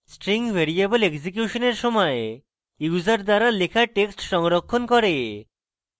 string variable এক্সিকিউশনের সময় user দ্বারা লেখা text সংরক্ষণ করে